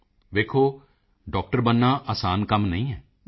ਮੋਦੀ ਜੀ ਵੇਖੋ ਡਾਕਟਰ ਬਣਨਾ ਆਸਾਨ ਕੰਮ ਨਹੀਂ ਹੈ